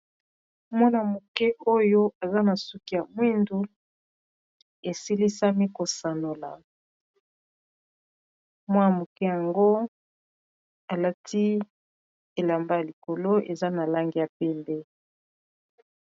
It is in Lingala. wana-moke oyo aza na suki ya mwindu esilisami kosanola mwana moke yango alati elamba ya likolo eza na langi ya pembe.